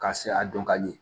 Ka se a dɔn ka di